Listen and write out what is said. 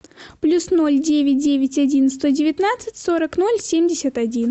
плюс ноль девять девять один сто девятнадцать сорок ноль семьдесят один